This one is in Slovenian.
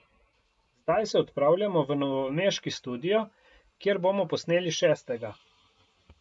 Zdaj se odpravljamo v novomeški studio, kjer bomo posneli šestega.